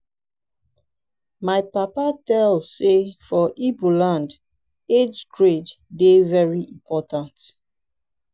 my papa tell sey for igbo land age grade dey very important.